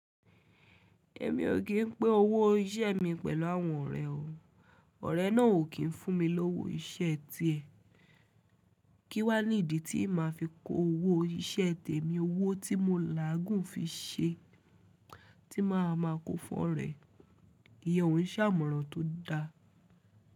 Èmi ò kín pin owó iṣẹ́ mi pẹ̀lú àwọn ọ̀rẹ́ o. Ọ̀rẹ́ náà ò kín fún mi lówó iṣẹ́ tiẹ̀. Kí wá ní ìdí tí màá fi kó owó iṣẹ́ tèmi, owó tí mo làágùn fí ṣe tí màá ma kó fún ọ̀rẹ́. Ìyẹ́ òun ṣàmọ̀ran tó da.